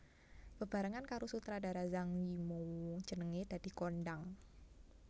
Bebarengan karo sutradara Zhang Yimou jenengé dadi kondhang